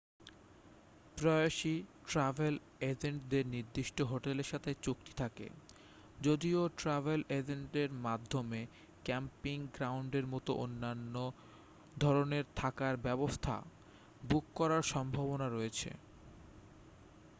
প্রায়শই ট্র্যাভেল এজেন্টদের নির্দিষ্ট হোটেলের সাথে চুক্তি থাকে যদিও ট্র্যাভেল এজেন্টের মাধ্যমে ক্যাম্পিং গ্রাউন্ডের মতো অন্যান্য ধরণের থাকার ব্যবস্থা বুক করার সম্ভাবনা রয়েছে